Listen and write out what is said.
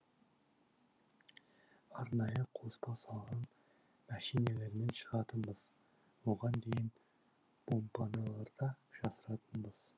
арнайы қоспа салған мәшинелермен шығатынбыз оған дейін бомбапаналарда жасырынатынбыз